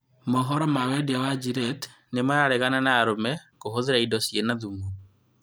Mohoro ma wendia ma Gilltte nĩmararegana na arũme kũhũthĩra ĩndo ciĩna thumu